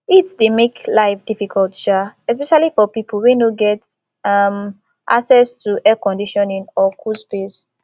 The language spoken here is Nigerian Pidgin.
heat dey make life difficult um especially for people wey no get um access to air conditioning or cool space